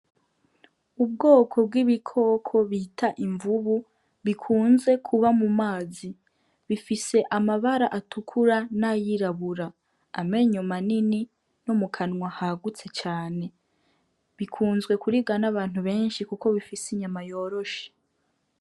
Ubwoko bw'ibikoko bita imvubu, bikunze kuba mu mazi. Bifise amabara atukura n'ayirabura, amenyo manini no mu kanwa hagutse cane. Bikunze kuribwa n'abantu benshi kuko bifise inyama yoroshe.